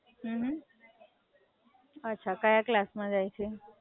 અચ્છા, કયા ક્લાસ માં જાય છે?